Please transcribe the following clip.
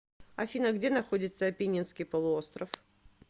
афина где находится апеннинский полуостров